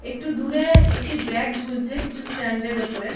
একটু দূরে-এ একটি ব্যাগ ঝুলছে কিছু স্ট্যান্ড -এর উপরে--